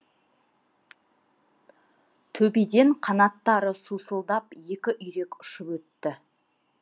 төбеден қанаттары сусылдап екі үйрек ұшып өтті